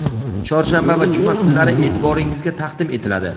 chorshanba va juma kunlari e’tiboringizga taqdim etiladi.